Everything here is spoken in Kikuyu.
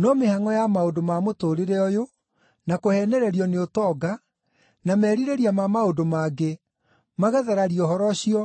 no mĩhangʼo ya maũndũ ma mũtũũrĩre ũyũ, na kũheenererio nĩ ũtonga, na merirĩria ma maũndũ mangĩ, magathararia ũhoro ũcio,